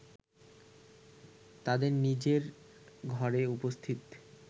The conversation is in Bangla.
তাদের নিজের ঘরে উপস্থিত